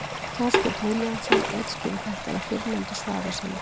Þorsteinn Vilhjálmsson útskýrir þetta í fyrrnefndu svari sínu: